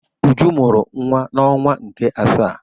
Uju mụrụ nwa n'ọnwa nke asaa.